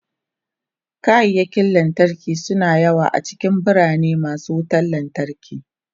Kayakin lantarki suna da yawa a cikin birane masu wutan lantarki.